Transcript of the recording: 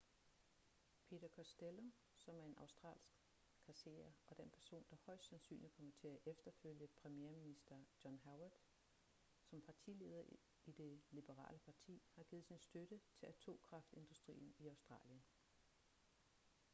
peter costello som er en australsk kasserer og den person der højest sandsynligt kommer til at efterfølge premierminister john howard som partileder i det liberale parti har givet sin støtte til atomkraftindustrien i australien